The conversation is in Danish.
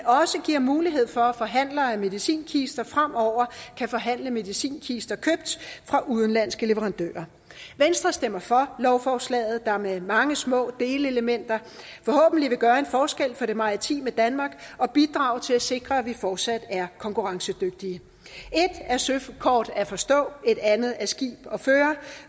også giver mulighed for at forhandlere af medicinkister fremover kan forhandle medicinkister købt fra udenlandske leverandører venstre stemmer for lovforslaget der med mange små delelementer forhåbentlig vil gøre en forskel for det maritime danmark og bidrage til at sikre at vi fortsat er konkurrencedygtige et er søkort at forstå et andet er skib at føre